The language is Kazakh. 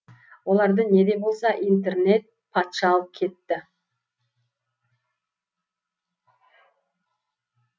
оларды не де болса интернет патша алып кетті